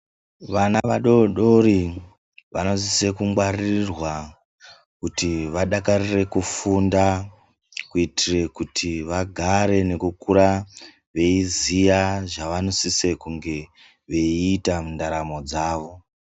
Vana vadodori vanosisa kungwarirwa kuti vadakarire kufunda kuitira kuti vagare veikura veiziva zvavanofana kusisa veita mundaramo dzavo.